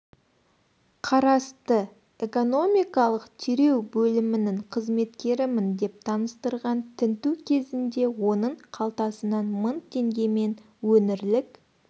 қарасты экономикалық тереу бөлімінің қызметкерімін деп таныстырған тінту кезінде оның қалтасынан мың теңге мен өңірлік